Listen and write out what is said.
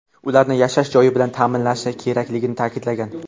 ularni yashash joyi bilan ta’minlashi kerakligini ta’kidlagan.